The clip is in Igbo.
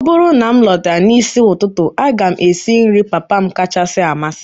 ọ bụrụ na m lọta n'isi ụtụtụ, a ga m esi nri papa m kacha amasị m